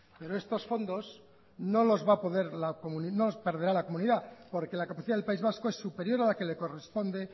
pero estos fondos no los va a perder la comunidad porque la capacidad del país vasco es superior a la que le corresponde